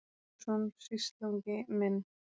Jónsson, sýslungi minn.